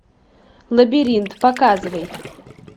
лабиринт показывай